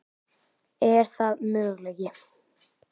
Er það möguleiki?